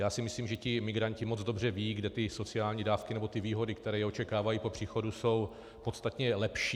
Já si myslím, že ti migranti moc dobře vědí, kde ty sociální dávky nebo ty výhody, které je očekávají po příchodu, jsou podstatně lepší.